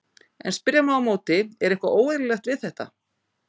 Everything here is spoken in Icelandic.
En spyrja má á móti, er eitthvað óeðlilegt við þetta?